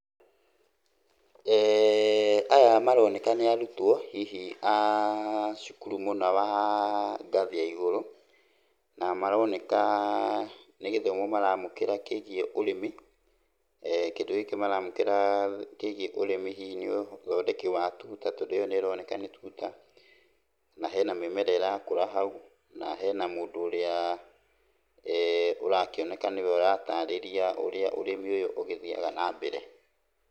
Aya maroneka nĩ arutwo hihi a cukuru mũna wa ngathĩ ya igũrũ, na maroneka nĩ gĩthomo maraamũkĩra kĩigiĩ ũrĩmi. Kĩndũ gĩkĩ maramũkĩra kĩigiĩ ũrĩmi hihi nĩ ũthondeki wa tuta, tondũ ĩyo nĩroneka nĩ tuta, na hena mĩmera ĩrakũra hau, na hena mũndũ ũrĩa ũrakĩoneka nĩwe ũratarĩria ũrĩa ũrĩmi ũyũ ũgĩthiaga nambere.